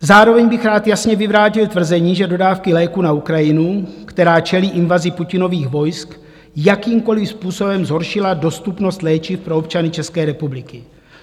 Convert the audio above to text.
Zároveň bych rád jasně vyvrátil tvrzení, že dodávky léků na Ukrajinu, která čelí invazi Putinových vojsk, jakýmkoliv způsobem zhoršily dostupnost léčiv pro občany České republiky.